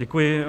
Děkuji.